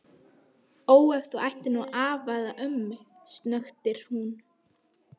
Ó ef þú ættir nú afa eða ömmu, snöktir hún.